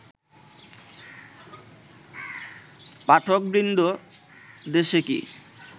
পাঠকবৃন্দ, দেশে কি